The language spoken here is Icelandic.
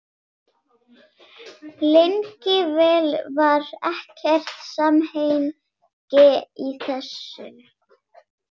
Lengi vel var ekkert samhengi í þessu.